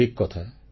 ଠିକ୍ କଥା